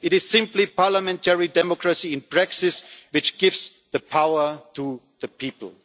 It is simply parliamentary democracy in practice, which gives the power to the people.